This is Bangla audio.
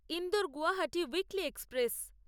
Indore Guwahati weekly express